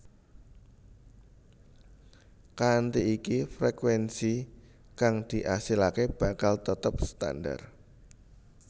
Kanthi iki frekuénsi kang diasilaké bakal tetep standar